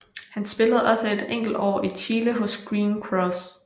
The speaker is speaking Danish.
Han spillede også et enkelt år i Chile hos Green Cross